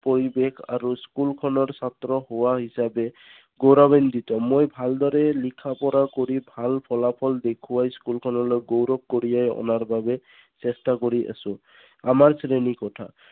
পৰিবেশ আৰু school খনৰ ছাত্ৰ হোৱা হিচাপে গৌৰৱেনটিত। মই ভালদৰে লিখা পঢ়া কৰি ভাল ফলাফল দেখুৱা school খনলৈ গৌৰব কঢ়িয়াই অনা বাবে চেষ্টা কৰি আছো। আমাৰ শ্ৰেণী কোঠা